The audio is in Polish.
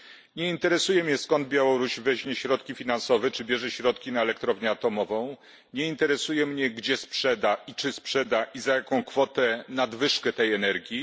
Nie interesuje mnie, skąd Białoruś weźmie środki finansowe, czy bierze środki na elektrownię atomową. Nie interesuje mnie, gdzie sprzeda, i czy sprzeda, i za jaką kwotę nadwyżkę tej energii.